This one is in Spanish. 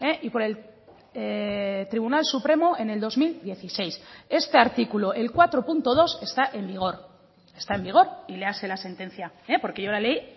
y por el tribunal supremo en el dos mil dieciséis este artículo el cuatro punto dos está en vigor está en vigor y léase la sentencia porque yo la leí